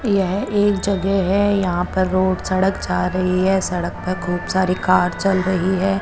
ये एक जगह है यहा पर रोड सडक जा रही है सडक पर खूब सारी कार चल रही है।